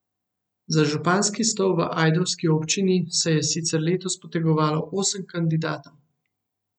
Za županski stol v ajdovski občini se je sicer letos potegovalo osem kandidatov.